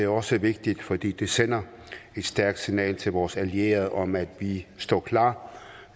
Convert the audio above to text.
også vigtig fordi vi sender et stærkt signal til vores allierede om at vi står klar